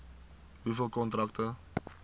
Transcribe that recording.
hoeveel kontrakte